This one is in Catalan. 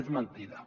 és mentida